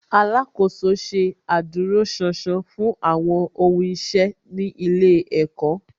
Alákòóso ṣe adúróṣánṣán fún àwọn ohun iṣẹ́ ní ilé ẹ̀kọ́